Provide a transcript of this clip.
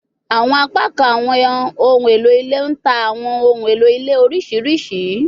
Awọn apakan awọn ohun elo ile n ta awọn ohun elo ile oriṣiriṣi